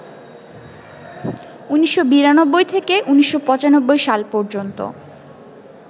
১৯৯২ থেকে ১৯৯৫সাল পর্যন্ত